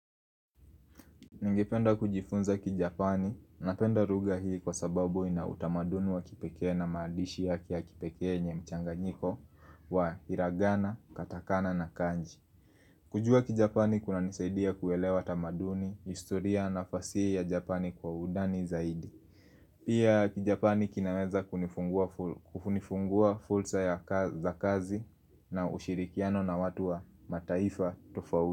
Ningependa kujifunza kijapani napenda lugha hii kwa sababu ina utamaduni wa kipekee na maandishi yake ya kipekee yenye mchanganyiko wa hiragana, katakana na kanji. Kujua kijapani kunanisaidia kuelewa tamaduni, historia na fasihi ya japani kwa undani zaidi. Pia kijapani kinaweza kufunifungua fursa za kazi na ushirikiano na watu wa mataifa tofauti.